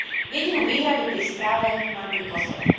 Jedinú výhradu pri správe mám pri Kosove.